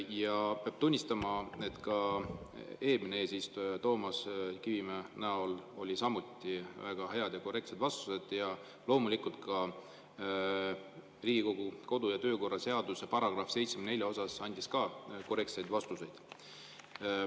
Ja peab tunnistama, et eelmine eesistuja Toomas Kivimägi andis samuti väga häid ja korrektseid vastuseid ja loomulikult ka Riigikogu kodu- ja töökorra seaduse § 74 kohta andis ta korrektseid vastuseid.